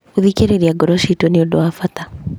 Gũthikĩrĩria ngoro ciitũ nĩ ũndũ wa bata.